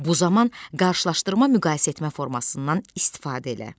Bu zaman qarşılaşdırma müqayisə etmə formasından istifadə elə.